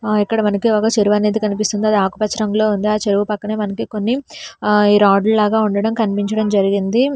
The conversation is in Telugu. ఆ ఇక్కడ వెనక ఒక చెరువు కానీపిస్తుంది అది ఆకుపచ్చ రంగులో ఉంది ఆ చెరువు పక్కనే మనకి కొన్ని రాడ్లా గా ఉండడం కనిపించించటం జరిగింది.